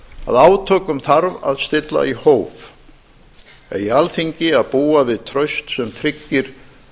að átökum þarf að stilla í hóf eigi alþingi að búa við traust sem tryggir